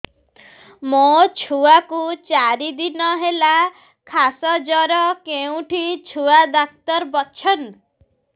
ମୋ ଛୁଆ କୁ ଚାରି ଦିନ ହେଲା ଖାସ ଜର କେଉଁଠି ଛୁଆ ଡାକ୍ତର ଵସ୍ଛନ୍